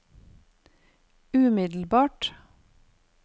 umiddelbart